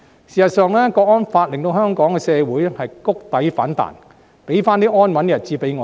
事實上，《香港國安法》令香港社會谷底反彈，再次讓我們得享安穩的日子。